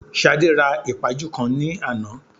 Ṣadé ra ìpaju kan ní àná